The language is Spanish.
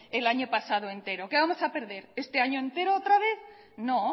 el año pasado entero qué vamos a perder este año entero otra vez no